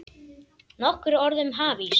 Nokkur orð um hafís